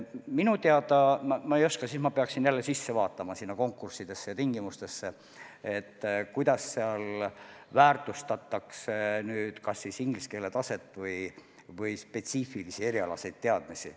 Ma ei oska seda öelda, ma peaksin nende konkursside tingimustesse süvenema, kindlaks tegema, kui palju väärtustatakse näiteks inglise keele taset või spetsiifilisi erialaseid teadmisi.